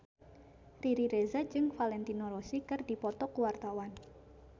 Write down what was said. Riri Reza jeung Valentino Rossi keur dipoto ku wartawan